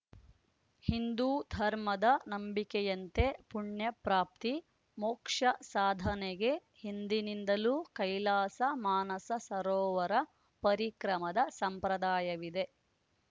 ಹಿಂದೂ ಧರ್ಮದ ನಂಬಿಕೆಯಂತೆ ಪುಣ್ಯಪ್ರಾಪ್ತಿ ಮೋಕ್ಷಸಾಧನೆಗೆ ಹಿಂದಿನಿಂದಲೂ ಕೈಲಾಸ ಮಾನಸ ಸರೋವರ ಪರಿಕ್ರಮದ ಸಂಪ್ರದಾಯವಿದೆ